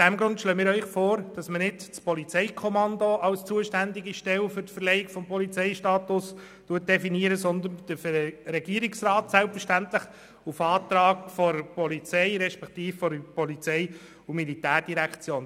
Deshalb schlagen wir Ihnen vor, dass wir nicht das Polizeikommando, sondern auf Antrag der POM den Regierungsrat als zuständige Stelle für die Verleihung des Polizeistatus definieren.